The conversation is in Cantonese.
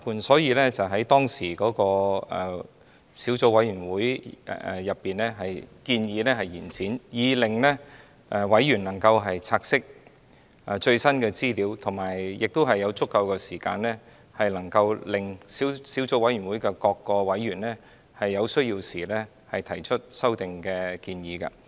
所以，當時小組委員會建議延展決議案，讓委員能夠察悉最新的資料，並且有足夠時間，令小組委員會各委員在有需要時提出修訂建議。